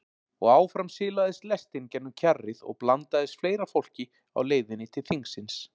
Og áfram silaðist lestin gegnum kjarrið og blandaðist fleira fólki á leiðinni til þingsins.